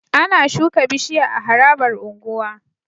Ana shuka bishiya a harabar unguwa